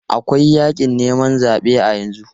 Akwai yakin neman zabe a yanzu.